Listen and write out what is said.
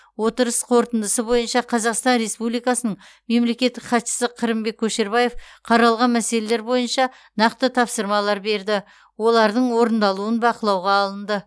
отырыс қорытындысы бойынша қазақстан республикасының мемлекеттік хатшысы қырымбек көшербаев қаралған мәселелер бойынша нақты тапсырмалар берді олардың орындалуын бақылауға алынды